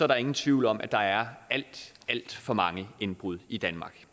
der ingen tvivl om at der er alt alt for mange indbrud i danmark